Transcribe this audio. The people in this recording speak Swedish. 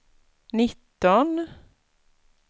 nitton